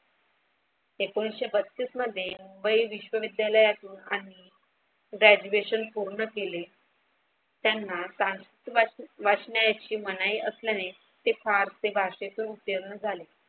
एकोणीशे बत्तीस मध्ये वै विश्वविद्यालयातून आणि graduation पूर्ण केले. त्यांना वाचण्याची मनाई असल्याने ते फारसी भाषेतून उत्तीर्ण झाले.